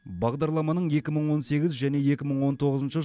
бағдарламаның екі мың он сегіз және екі мың он тоғызыншы